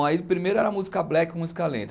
Bom, aí primeiro era música black, música lenta.